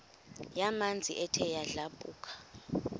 yamanzi ethe yadlabhuka